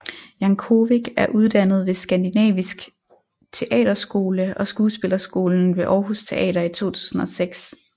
Jankovic er uddannet ved Skandinavisk Teaterskole og Skuespillerskolen ved Århus Teater i 2006